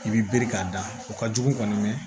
I bi biriki k'a da o ka jugu kɔni dɛ